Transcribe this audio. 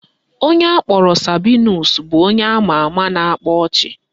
Onye akpọrọ Sabinus bụ onye ama ama na-akpa ọchị